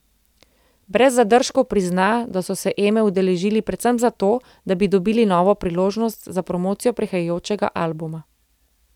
Brez zadržkov prizna, da so se Eme udeležili predvsem zato, da bi dobili priložnost za promocijo prihajajočega albuma.